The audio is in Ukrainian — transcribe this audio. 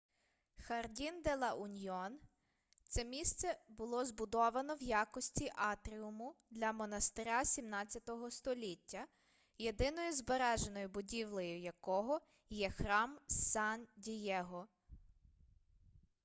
хардін-де-ла-уньйон це місце було збудовано в якості атріуму для монастиря 17-го століття єдиною збереженою будівлею якого є храм сан-дієго